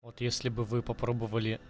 вот если бы вы попробовали